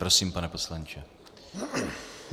Prosím, pane poslanče.